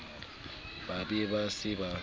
ba be ba se ba